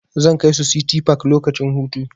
Zan kai su City park lokacin hutu.